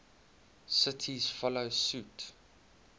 cities follow suit